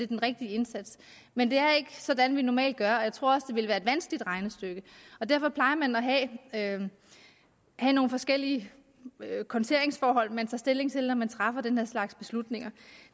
den rigtige indsats men det er ikke sådan vi gør normalt og jeg tror også at ville være et vanskeligt regnestykke derfor plejer man at have nogle forskellige konteringsforhold som man tager stilling til når man træffer den her slags beslutninger